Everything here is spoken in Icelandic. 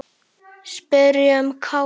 Spyrjum Kára.